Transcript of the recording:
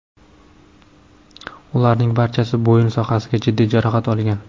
Ularning barchasi bo‘yin sohasida jiddiy jarohat olgan.